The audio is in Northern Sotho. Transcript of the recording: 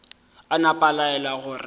a napa a laela gore